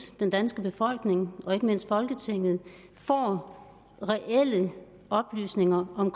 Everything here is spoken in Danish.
den danske befolkning og ikke mindst folketinget får reelle oplysninger om